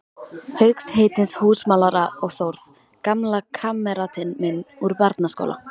Hauks heitins húsamálara og Þórð, gamla kammeratinn minn úr barnaskóla.